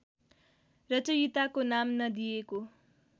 रचयिताको नाम नदिएको